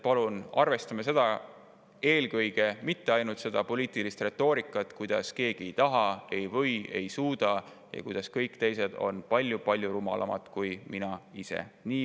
Palun arvestame eelkõige seda, mitte ainult seda poliitilist retoorikat, kuidas keegi ei taha, ei või, ei suuda, ja kuidas kõik teised on palju-palju rumalamad kui mina ise.